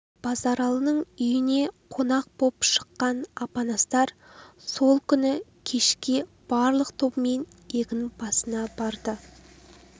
базаралының үйіне қонақ боп шыққан апанастар сол күні кешке барлық тобымен егін басына барды